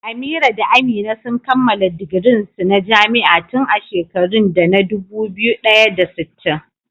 Amira da Amina sun kammala digirin su na jami'a tun a shekarun da na dubu ɗaya da sittin.